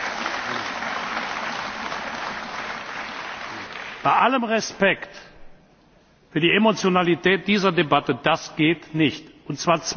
Herr Verhofstadt gehört zu den Abgeordneten dieses Hauses und Mitgliedern der Konferenz der Präsidenten, die mich ausdrücklich ermuntern, so viel wie möglich Mitglieder des Europäischen Rates, also Regierungschefs, hierher einzuladen.